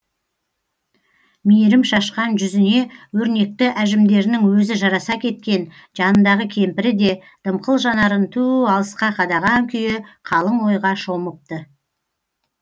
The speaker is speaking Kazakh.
мейірім шашқан жүзіне өрнекті әжімдерінің өзі жараса кеткен жанындағы кемпірі де дымқыл жанарын түу алысқа қадаған күйі қалың ойға шомыпты